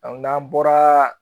n'an bɔra